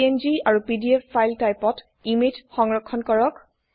PNGআৰু PDF file টাইপত image সংৰক্ষণ কৰক 4